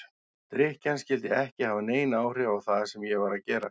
Drykkjan skyldi ekki hafa nein áhrif á það sem ég var að gera.